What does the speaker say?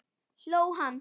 Hló líka.